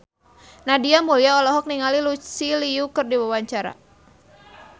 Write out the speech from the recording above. Nadia Mulya olohok ningali Lucy Liu keur diwawancara